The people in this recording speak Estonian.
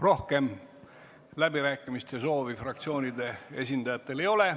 Rohkem läbirääkimiste soovi fraktsioonide esindajatel ei ole.